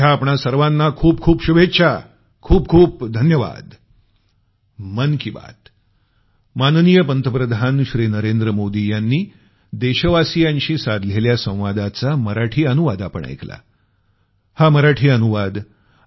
माझ्या आपणा सर्वाना खूप खूप शुभेच्छा खूप खूप धन्यवाद